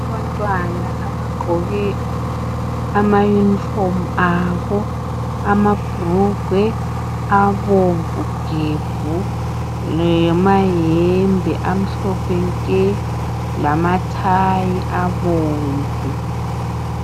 Abantwana abagqoke amayunifomu abo. Amabhulugwe abomvu gebhu le mayembe amhlophe nke lamathayi abomvu.